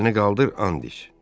Əlini qaldır, and iç.